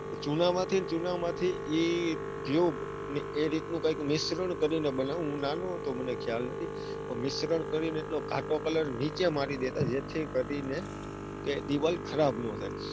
ચૂનામાંથી ન ચૂનામાંથી એ tube અને એ રીત નું કૈક મિસ્સરણ કરીને બનાવતા હું નાનો હતો મને ખ્યાલ નથી પણ મિસ્સરણ કરીને એટલો ઘાટો colour નીચે મારી દેતા. જેથી કરીને દીવાલ ખરાબ ના થાય.